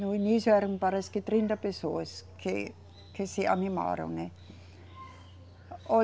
No início eram parece que trinta pessoas que, que se animaram, né. Olhe